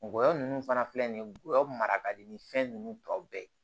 Ngɔyɔ nunnu fana filɛ nin ye ngɔyɔ mara ka di ni fɛn ninnu tɔw bɛɛ ye